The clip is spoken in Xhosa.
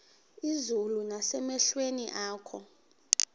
izulu nasemehlweni akho